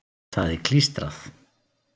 Það er klístrað.